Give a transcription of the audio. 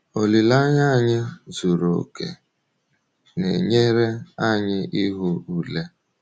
Olileanya anyị zuru oke na-enyere anyị ihu ule.